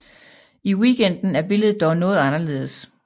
I Weekenden er billedet dog noget anderledes